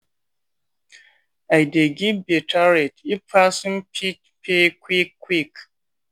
i dey give better rate if person fit pay quick quick.